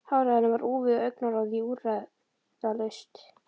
Hárið á henni var úfið og augnaráðið úrræðalaust.